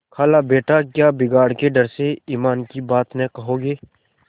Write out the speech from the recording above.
खालाबेटा क्या बिगाड़ के डर से ईमान की बात न कहोगे